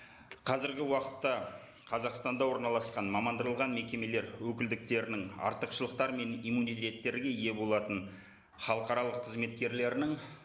қазіргі уақытта қазақстанда орналасқан мекемелер өкілдіктерінің артықшылықтары мен иммунитеттерге ие болатын халықаралық қызметкерлерінің